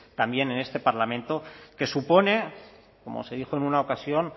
también en este parlamento que supone como se dijo en una ocasión